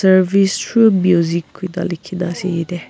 service through music koi ne likhi ne ase ete.